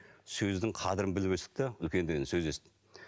сөздің қадірін біліп өстік те үлкендерден сөз естіп